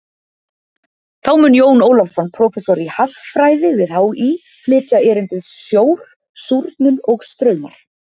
Þá mun Jón Ólafsson, prófessor í haffræði við HÍ, flytja erindið Sjór, súrnun og straumar.